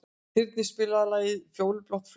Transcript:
Þyrnir, spilaðu lagið „Fjólublátt flauel“.